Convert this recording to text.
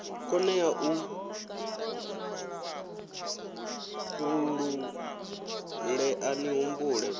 konevho u ṱuṱulea ni humbule